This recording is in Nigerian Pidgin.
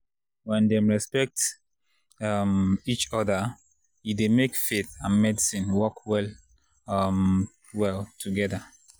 when dem respect um each other e dey make faith and medicine work well um well together.